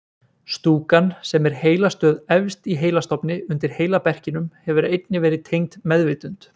Stúkan sem er heilastöð efst í heilastofni undir heilaberkinum hefur einnig verið tengd meðvitund.